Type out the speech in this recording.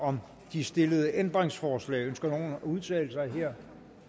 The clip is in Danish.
om de stillede ændringsforslag ønsker nogen at udtale sig her